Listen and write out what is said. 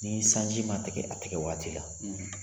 Ni sanji ma tigɛ a tigɛ waati la.